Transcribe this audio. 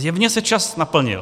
Zjevně se čas naplnil.